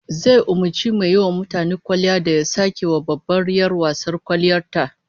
Zai umurci mai yiwa mutane kwalliya da ya sake wa babbar 'yar wasar kwalliyar ta